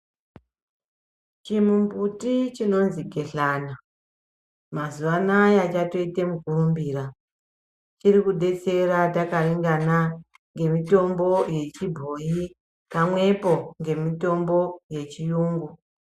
Chimumbuti chinonzi gehlani mazuva anawa chatoita mukurumbira chiri kudetsera chakaringana nemitombo yechibhoyi pamwepo nemitombo yechirungu.